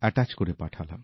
attach করে পাঠালাম